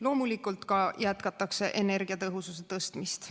Loomulikult ka jätkatakse energiatõhususe tõstmist.